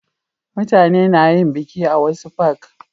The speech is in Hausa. mutane na yin biki a wasu fak